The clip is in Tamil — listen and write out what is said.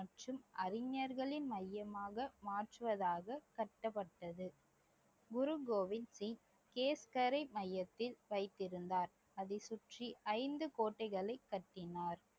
மற்றும் அறிஞர்களின் மையமாக மாற்றுவதாக கட்டப்பட்டது குரு கோவிந்த் மையத்தில் வைத்திருந்தார் அதை சுற்றி ஐந்து கோட்டைகளை கட்டினார்